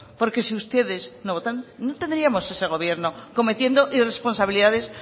porque si ustedes no votan no tendríamos ese gobierno cometiendo irresponsabilidades